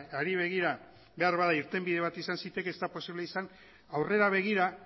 hari begira beharbada irtenbide bat izan zitekeen ez da posible izan aurrera begira